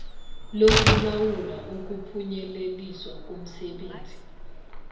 lokulawula ukuphunyeleliswa komsebenzi